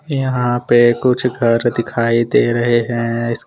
यहाँ पे कुछ घर दिखाई दे रहे हैं इसके--